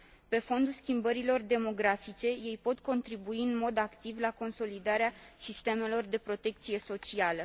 Pe fondul schimbărilor demografice, ei pot contribui în mod activ la consolidarea sistemelor de protecție socială.